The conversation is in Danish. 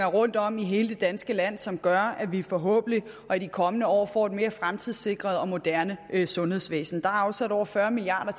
rundtom i hele det danske land som gør at vi forhåbentlig i de kommende år får et mere fremtidssikret og moderne sundhedsvæsen der er afsat over fyrre milliard